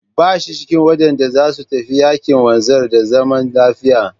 Ba shi cikin waɗanda za su tafi yaƙin wanzar da zaman lafiya.